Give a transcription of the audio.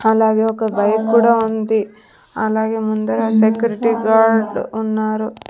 అలాగే ఒక బైక్ కూడా ఉంది అలాగే ముందర సెక్యూరిటీ గార్డ్ ఉన్నారు.